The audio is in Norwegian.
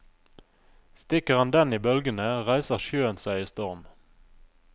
Stikker han den i bølgene, reiser sjøen seg i storm.